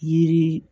Yiri